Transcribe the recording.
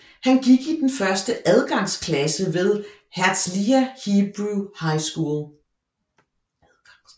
Han gik i den første adgangsklasse ved Herzliya Hebrew High School